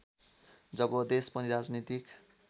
जब देश पनि राजनीतिक